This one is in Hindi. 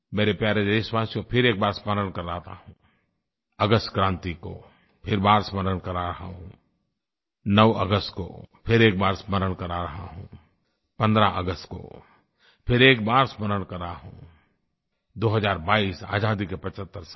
मेरे प्यारे देशवासियों फिर एक बार स्मरण कराता हूँ अगस्त क्रान्ति को फिर एक बार स्मरण करा रहा हूँ 9 अगस्त को फिर एक बार स्मरण करा रहा हूँ 15 अगस्त को फिर एक बार स्मरण करा रहा हूँ 2022 आज़ादी के 75 साल